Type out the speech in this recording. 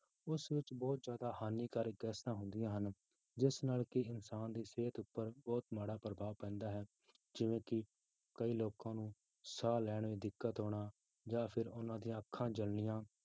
ਉਸ ਵਿੱਚ ਬਹੁਤ ਜ਼ਿਆਦਾ ਹਾਨੀਕਾਰਕ ਗੈਸਾਂ ਹੁੰਦੀਆਂ ਹਨ ਜਿਸ ਨਾਲ ਕਿ ਇਨਸਾਨ ਦੀ ਸਿਹਤ ਉੱਪਰ ਬਹੁਤ ਮਾੜਾ ਪ੍ਰਭਾਵ ਪੈਂਦਾ ਹੈ ਜਿਵੇਂ ਕਿ ਕਈ ਲੋਕਾਂ ਨੂੰ ਸਾਹ ਲੈਣ ਵਿੱਚ ਦਿੱਕਤ ਆਉਣਾ ਜਾਂ ਫਿਰ ਉਹਨਾਂ ਦੀਆਂ ਅੱਖਾਂ ਜਲਣੀਆਂ